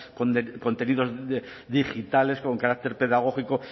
contenidos digitales con carácter pedagógico